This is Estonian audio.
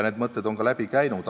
Need mõtted on ka läbi käinud.